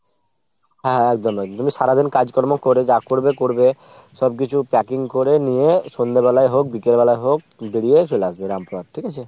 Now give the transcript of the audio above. হ্যাঁ হ্যাঁ একদম একদমই। সারাদিন কাজকর্ম করে যা করবে করবে। সব কিছু packing করে নিয়ে সন্ধ্যেবেলায় হোক বিকেলবেলা হোক বেরিয়ে চলে আসবে রামপুরহাট ঠিক আছে ?